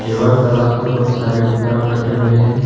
Yoga class में बहुत सारे उपकरण रखे हुए है।